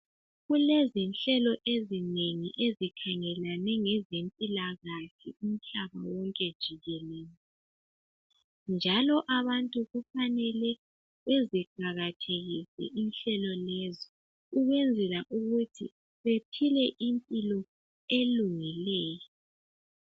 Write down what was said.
Kulezinhlelo ezinengi ezikhangelane ngezempilakahle umhlaba wonke jikelele. Njalo abantu kufanele beziqakathekise inhlelo lezi ukwenzela ukuthi bephile impilo elungileyo.